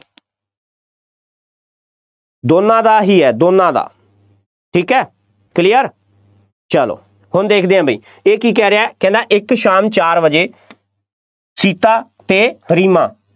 ਦੋਨਾ ਦਾ ਹੀ ਹੈ, ਦੋਨਾ ਦਾ, ਠੀਕ ਹੈ clear ਚੱਲੋ ਹੁਣ ਦੇਖਦੇ ਹਾਂ ਬਈ, ਇਹ ਕੀ ਕਹਿ ਰਿਹਾ, ਕਹਿੰਦਾ ਇੱਕ ਸ਼ਾਮ ਚਾਰ ਵਜੇ ਸੀਤਾ ਅਤੇ ਰੀਮਾ